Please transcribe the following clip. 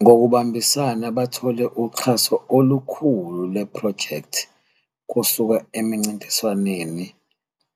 Ngokubambisana bathole uxhaso olukhulu lwephrojekthi kusuka emincintiswaneni